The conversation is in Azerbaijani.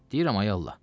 Deyirəm ay Allah.